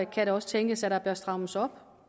kan det også tænkes at der bør strammes op